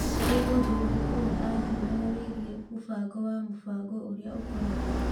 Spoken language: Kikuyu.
Nĩ ũndũ ũrĩkũ we athuuraga wĩgiĩ mũbango wa Mũbango ũrĩa ũkoragwo?